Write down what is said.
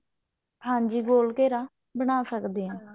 ਹਾਂਜੀ ਗੋਲ ਘੇਰਾ ਬਣਾ ਸਕਦੇ ਹਾਂ